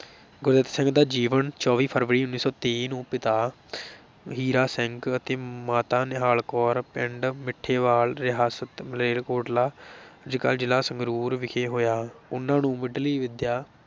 ਗੁਰਦਿੱਤ ਸਿੰਘ ਦਾ ਜੀਵਨ ਚੌਵੀ ਫਰਵਰੀ ਉੱਨੀ ਸੌ ਤੇਈ ਨੂੰ ਪਿਤਾ ਹੀਰਾ ਸਿੰਘ ਅਤੇ ਮਾਤਾ ਨਿਹਾਲ ਕੌਰ ਪਿੰਡ ਮਿੱਠੇਵਾਲ, ਰਿਆਸਤ ਮਾਲੇਰਕੋਟਲਾ ਅੱਜਕੱਲ ਜ਼ਿਲ੍ਹਾ ਸੰਗਰੂਰ ਵਿਖੇ ਹੋਇਆ, ਉਨ੍ਹਾਂ ਨੇ ਮੁੱਢਲੀ ਵਿੱਦਿਆ